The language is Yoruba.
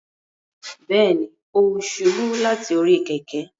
Bẹẹni, o ṣubu lati ori kẹ̀kẹ́